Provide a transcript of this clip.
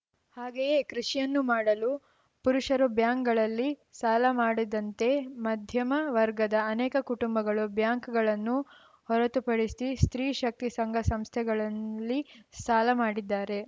ಹಾಗೇಯೇ ಕೃಷಿಯನ್ನು ಮಾಡಲು ಪುರುಷರು ಬ್ಯಾಂಕ್‌ಗಳಲ್ಲಿ ಸಾಲ ಮಾಡಿದಂತೆ ಮಧ್ಯಮ ವರ್ಗದ ಅನೇಕ ಕುಟುಂಬಗಳು ಬ್ಯಾಂಕ್ ಗಳನ್ನು ಹೊರೆತುಪಡಿಸಿ ಸ್ತ್ರೀ ಶಕ್ತಿ ಸಂಘ ಸಂಸ್ಥೆಗಳಲ್ಲಿ ಸಾಲಮಾಡಿದ್ದಾರೆ